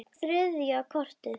Þetta var þriðja kortið.